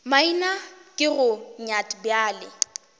maina ke go nyat bjale